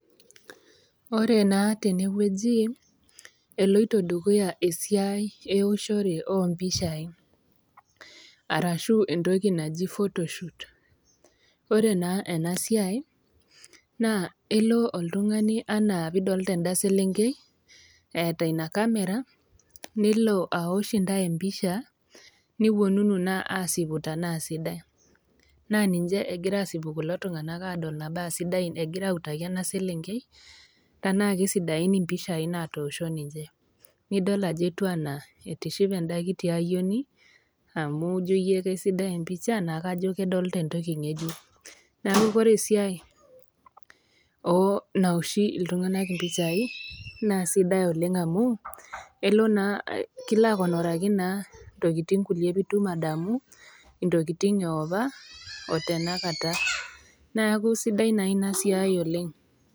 Ore naa tene wueji eloito dukuya esiai eoshore oo mpishai, arashu entoki naji photoshoot ore naa ena siai naa elo oltung'ani anaa pee idolita enda selenkei eata Ina kamera, nelo aosh intai empisha newuonunu naa aasipu tanaa sidai, naa ninche egira aasipu kulo tung'ana ajo tanaa sidai egira autaki ena selenkei tanaake sidain impishai natoosho ninche, nidol anaa etiu anaa etishipe enda kiti ayioni amu kajo aisidai empisha anaa kajo kedolita entoki ng'ejuk, neaku ore esiai naoshi iltung'ana impishai naa sidai oleng' amu elo naa, kilo akonoraki naa tokitin kulie pee itum adamu intokitin e opa, o tena kata, neaku sidai naa Ina siai oleng'.